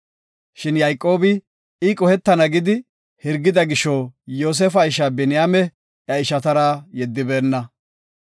Shin Yayqoobi I qohetana gidi hirgida gisho Yoosefa isha Biniyaame iya ishatara yeddibeenna.